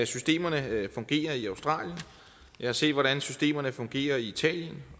systemerne fungerer i australien jeg har set hvordan systemerne fungerer i italien